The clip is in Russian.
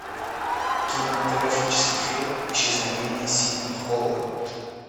кинематографический фильм исчезновение сидни холла